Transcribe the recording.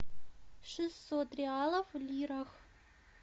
шестьсот реалов в лирах